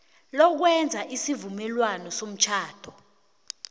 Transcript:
lokwenza isivumelwano somtjhado